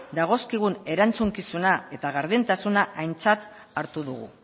dagozkigun erantzukizunak eta gardentasuna aintzat hartu dugu